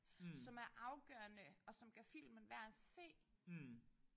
Som er afgørende og som gør filmen værd at se